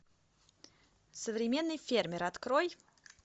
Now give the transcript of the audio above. современный фермер открой